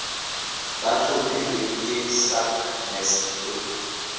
ba tlhophilweng ke sacnasp e